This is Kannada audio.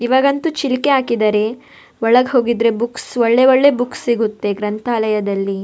ಈವಾಗಂತು ಚಿಲ್ಕೆ ಹಾಕಿದ್ದಾರೆ ಒಳ್ಗ್ ಹೋಗಿದ್ರೆ ಬುಕ್ಸ್ ಒಳ್ಳೆ ಒಳ್ಳೆ ಬುಕ್ಸ್ ಸಿಗುತ್ತೆ ಗ್ರಂಥಾಲಯದಲ್ಲಿ.